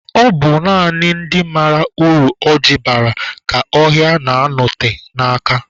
Ọ bụ naanị ndị mara uru ọ ji bara ka ọhịa na-anote n'aka